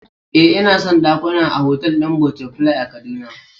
Eh, ina son dakuna a otal din Butterfly a kaduna